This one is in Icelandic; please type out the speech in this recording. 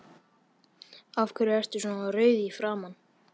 Af hverju ertu svona rauður í framan?